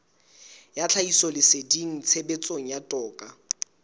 ya tlhahisoleseding tshebetsong ya toka